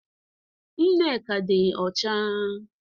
Nneka di ocha